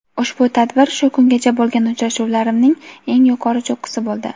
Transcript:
ushbu tadbir shu kungacha bo‘lgan uchrashuvlarimning eng yuqori cho‘qqisi bo‘ldi.